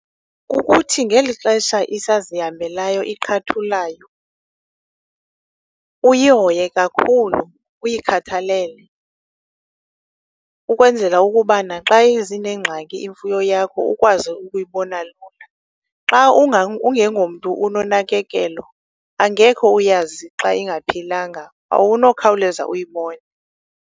Kukuthi ngeli xesha isazihambelayo iqhathulayo uyihoye kakhulu, uyikhathalele, ukwenzela ukuba naxa zinengxaki imfuyo yakho ukwazi ukuyibona lula. Xa ungengomntu unonakekelo angeke uyazi xa ingaphilanga, awunokhawuleza uyibone.